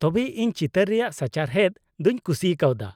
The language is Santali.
ᱛᱚᱵᱮ ᱤᱧ ᱪᱤᱛᱟᱹᱨ ᱨᱮᱭᱟᱜ ᱥᱟᱪᱟᱨᱦᱮᱫ ᱫᱚᱧ ᱠᱩᱥᱤ ᱠᱟᱣᱫᱟ ᱾